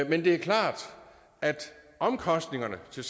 men det er klart at omkostningerne til